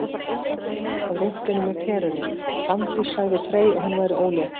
Á rúntinum með Perunni: Fanndís sagði Frey að hún væri ólétt